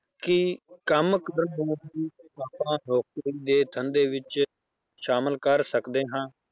ਕਿ ਕੰਮ ਦੇ ਧੰਦੇ ਵਿੱਚ ਸ਼ਾਮਲ ਕਰ ਸਕਦੇ ਹਾਂ।